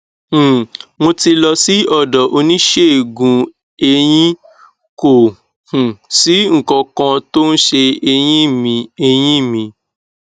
um mo ti lọ sí ọdọ oníṣègùneyín kò um sí nǹkan kan tó ń se eyín mi eyín mi